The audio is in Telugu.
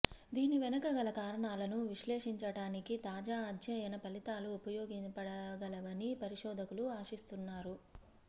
దీని వెనక గల కారణాలను విశ్లేషించటానికి తాజా అధ్యయన ఫలితాలు ఉపయోగపడగలవని పరిశోధకులు ఆశిస్తున్నారు